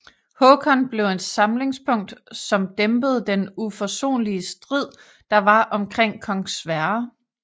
Håkon blev et samlingspunkt som dæmpede den uforsonlige strid der var omkring kong Sverre